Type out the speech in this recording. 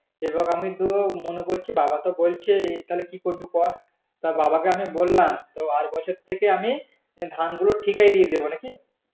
এবার আমি তো মনে করছি বাবা তো বলছেই তাহলে কি করবি কর তা বাবা কে আমি বললাম তো আর বছর থেকে আমি ধান গুলো ঠিকায় দিয়ে দেব নাকি